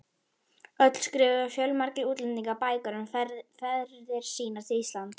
öld skrifuðu fjölmargir útlendingar bækur um ferðir sínar til Íslands.